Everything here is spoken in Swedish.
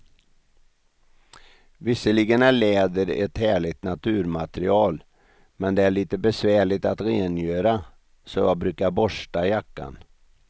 Visserligen är läder ett härligt naturmaterial, men det är lite besvärligt att rengöra, så jag brukar borsta jackan.